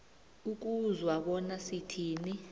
ukuzwa bona sithini